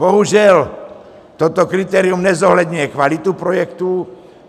Bohužel, toto kritérium nezohledňuje kvalitu projektů.